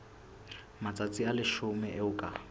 matsatsi a leshome eo ka